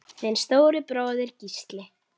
Þinn stóri bróðir, Gísli.